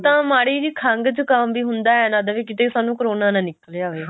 ਤਾਂ ਮਾੜੀ ਜੀ ਖੰਘ ਜ਼ੁਕਾਮ ਵੀ ਹੁੰਦਾ ਏਂ ਲੱਗਦਾ ਵੀ ਕੀਤੇ ਸਾਨੂੰ ਕਰੋਨਾ ਹੀ ਨਾਂ ਨਿਕਲੇ ਆਵੇ